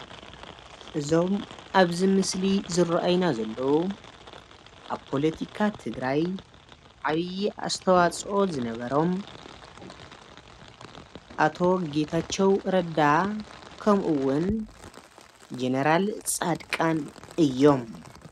እዞም ኣብዚ ምስሊ ዝረኣይና ዘለው ኣብ ፖለቲካ ትግራይ ዓብይ ኣስተዋፅኦ ዝነበሮም ኣቶ ጌታቸው ረዳን ከምኡ እውን ጀነራል ፃድቃን እዮም።